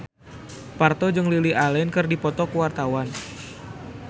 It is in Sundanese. Parto jeung Lily Allen keur dipoto ku wartawan